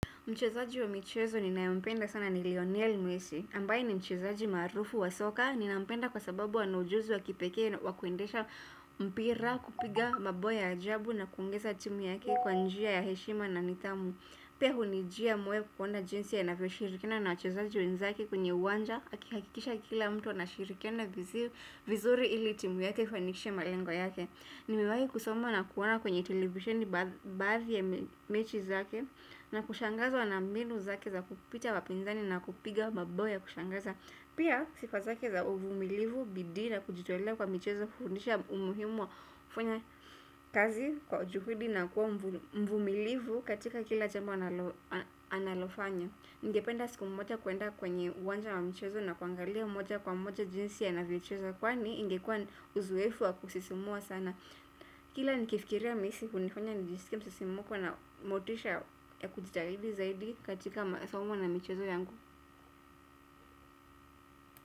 Mchezaji wa michezo ninayempenda sana ni Lionel Messi, ambaye ni mchezaji maarufu wa soka, ninampenda kwa sababu ana ujuzi wa kipekee wa kuendesha mpira, kupiga, mabao ya ajabu na kuongeza timu yake kwa njia ya heshima na nidhamu. Pia hunijia moyo kuona jinsi anavyoshirikina na wachezaji wenzake kwenye uwanja akihakikisha kila mtu anashirikiana vizuri ili timu yake ifanikishe malengo yake. Nimewahi kusoma na kuona kwenye televisheni baadhi ya mechi zake na kushangazwa na mbinu zake za kupita wapinzani na kupiga mabao ya kushangaza. Pia sifa zake za uvumilivu bidii na kujitolea kwa michezo hufundisha umuhimu wa kufanya kazi kwa juhudi na kuwa mvumilivu katika kila jambo analo analofanya. Ningependa siku mmoja kuenda kwenye uwanja wa michezo na kuangalia mmoja kwa mmoja jinsi anavyocheza. Kwani ingekua uzoefu wa kusisimua sana. Kila nikifikiria messi hunifanya nijisikie msisimko na motisha ya kujitahidi zaidi katika masomo na michezo yangu.